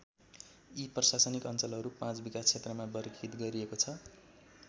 यी प्रशासनिक अञ्चलहरू पाँच विकास क्षेत्रमा वर्गीकृत गरिएको छ।